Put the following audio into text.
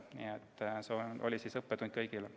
Nii et see oli õppetund kõigile.